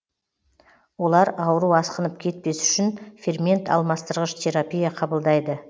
олар ауру асқынып кетпес үшін фермент алмастырғыш терапия қабылдайды